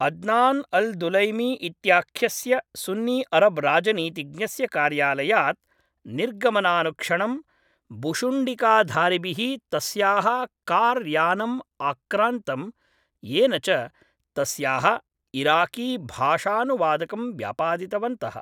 Adnan al Dulaimi इत्याख्यस्य सुन्नीअरब् राजनीतिज्ञस्य कार्यालयात् निर्गमनानुक्षणं भुशुण्डिकाधारिभिः तस्याः कार् यानम् आक्रान्तं येन च तस्याः इराकीभाषानुवादकं व्यापादितवन्तः।